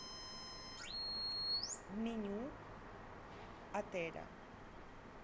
меню отеля